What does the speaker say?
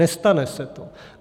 Nestane se to.